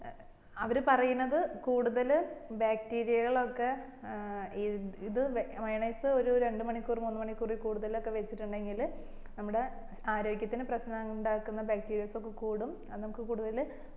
അവര് പറയുന്നത് കൂടുതല് bacteria കളൊക്കെ ഏർ ഇത് മയോണൈസ് ഒരു രണ്ട് മണിക്കൂർ മൂന്ന് മണിക്കൂർ കൂടുതൽ വച്ചിട്ടുണ്ടെങ്കില് നമ്മടെ ആര്യോഗത്തിനു പ്രശ്നമുണ്ടാകൂന്ന bacteria ഒക്കെ കൂടും അത് നമ്മക്ക് കൂടുതല്